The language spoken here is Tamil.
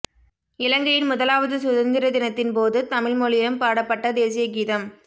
இலங்கையின் முதலாவது சுதந்திர தினத்தின் போது தமிழ் மொழியிலும் பாடப்பட்ட தேசியகீதம்